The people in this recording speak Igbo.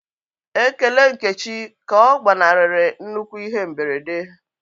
Ekele Nkechi ka ọ gbanarịrị nnukwu ihe mberede.